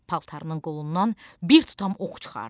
Paltarının qolundan bir tutam ox çıxardı,